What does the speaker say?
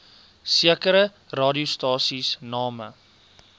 sekere radiostasies name